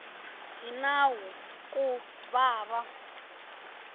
hi nawu ku va va